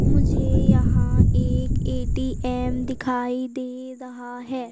मुझे यहां एक ए_टी_एम दिखाई दे रहा है।